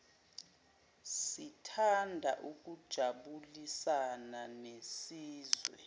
sithanda ukujabulisana nesizwe